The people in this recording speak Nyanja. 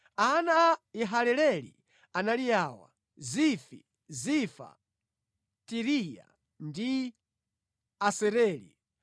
Ana a Yehaleleli anali awa: Zifi, Zifa, Tiriya ndi Asareli.